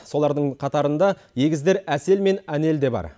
солардың қатарында егіздер әсел мен әнел де бар